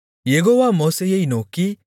யெகோவா மோசேயை நோக்கி